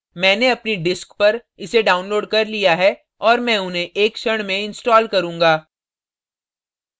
मैंने अपनी disk पर इसे downloaded कर लिया है और मैं उन्हें एक क्षण में install करूँगा